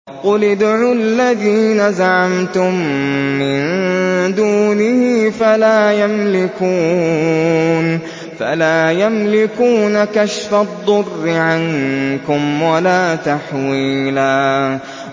قُلِ ادْعُوا الَّذِينَ زَعَمْتُم مِّن دُونِهِ فَلَا يَمْلِكُونَ كَشْفَ الضُّرِّ عَنكُمْ وَلَا تَحْوِيلًا